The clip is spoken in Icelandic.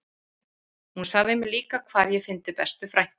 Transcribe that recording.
Hún sagði mér líka hvar ég fyndi bestu frænku